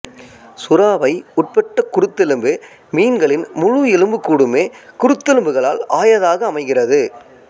சுறாவை உட்பட்ட குருத்தெலும்பு மீன்கலின் முழு எலும்புக்கூடுமே குருத்தெலும்புகளால் ஆயதாக அமைகிறது